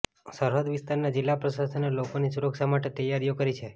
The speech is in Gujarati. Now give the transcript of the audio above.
સરહદ વિસ્તારના જિલ્લા પ્રશાસને લોકોની સુરક્ષા માટે તૈયારીઓ કરી છે